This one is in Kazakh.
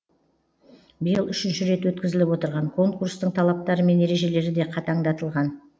биыл үшінші рет өткізіліп отырған конкурстың талаптары мен ережелері де қатаңдатылған